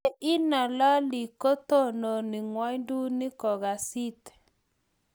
ya inalali ko tononi ng'wanduni ko kass it